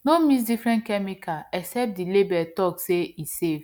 no mix different chemical except the label talk say e safe